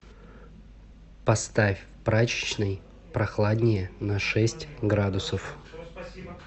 поставь в прачечной прохладнее на шесть градусов